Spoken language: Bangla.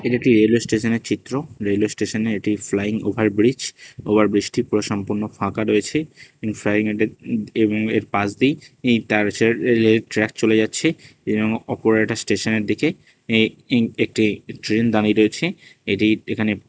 এটি রেলওয়ে স্টেশনের চিত্র রেলওয়ে স্টেশনে এটি ফ্লাইং ওভারব্রিজ ওভারব্রিজটি পুরো সম্পূর্ণ ফাঁকা রয়েছে ইন ফ্রাইয়েডে এম এর পাশ দিয়েই তার চে রেলের ট্র্যাক চলে যাচ্ছে ইম অপর একটা স্টেশনের দিকে এ ইম একটি ট্রেন দাঁড়িয়ে রয়েছে এটি এখানে--